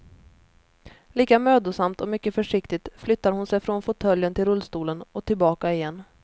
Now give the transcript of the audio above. Lika mödosamt och mycket försiktigt flyttar hon sig från fåtöljen till rullstolen och tillbaka igen.